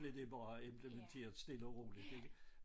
Blev det bare implementeret stille og roligt ik